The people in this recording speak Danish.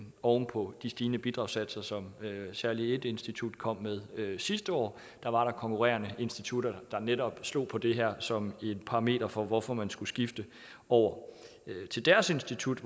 oven på de stigende bidragssatser som særlig et institut kom med sidste år der var konkurrerende institutter der netop slog på det her som et parameter for hvorfor man skulle skifte over til deres institut